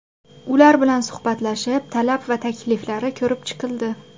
Ular bilan suhbatlashilib, talab va takliflari ko‘rib chiqildi.